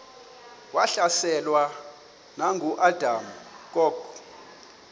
wahlaselwa nanguadam kok